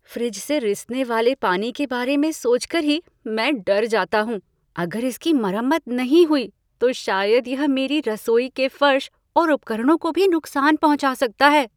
Fridge से रिसने वाले पानी के बारे में सोच कर ही मैं डर जाता हूँ। अगर इसकी मरम्मत नहीं हुई तो शायद यह मेरी रसोई के फर्श और उपकरणों को भी नुकसान पहुँचा सकता है।